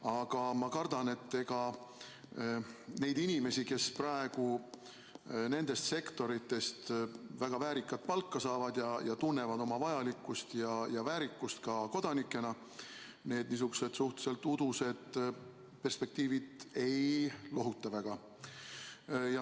Aga ma kardan, et ega neid inimesi, kes praegu nendest sektoritest väga väärikat palka saavad ja tunnevad oma vajalikkust ja väärikust ka kodanikena, need niisugused suhteliselt udused perspektiivid väga ei lohuta.